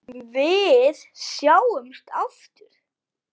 Við sjáumst aftur.